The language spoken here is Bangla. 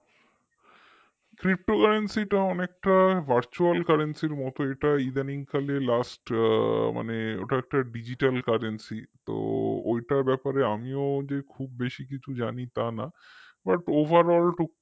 ptocurrency অনেকটা virtualcurrency র মতো এটা ইদানিংকালে last মানে ওটা একটা digitalcurrency তো ওইটার ব্যাপারে আমিও যে খুব বেশি কিছু জানি তা না butoverall